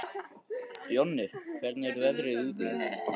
Jonni, hvernig er veðrið úti?